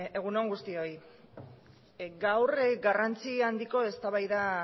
egun on guztioi gaur garrantzi handiko eztabaida